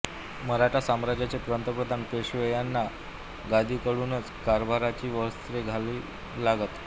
मराठा साम्राज्याचे पंतप्रधान पेशवे यांना या गादीकडूनच कारभाराची वस्त्रे घ्यावी लागत